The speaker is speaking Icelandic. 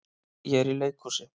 Ég er í leikhúsi.